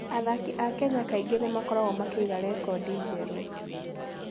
Athaki a Kenya kaingĩ nĩ makoragwo makĩiga rekondi njerũ.